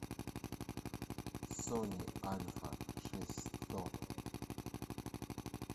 сони альфа шесть сто